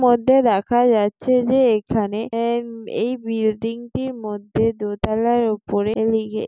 মধ্যে দেখা যাচ্ছে যে এখানে এ এই বিল্ডিং -টির মধ্যে দোতলার উপরে লিগে --